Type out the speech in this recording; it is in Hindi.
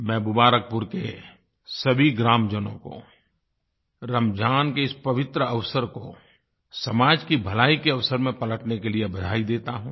मैं मुबारकपुर के सभी ग्रामजनों को रमज़ान के इस पवित्र अवसर को समाज की भलाई के अवसर में पलटने के लिए बधाई देता हूँ